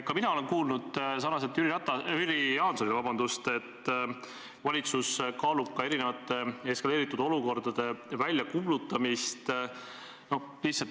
Ka mina olen kuulnud nagu Jüri Jaansongi, et valitsus kaalub erinevate eskaleerunud olukordade väljakuulutamist.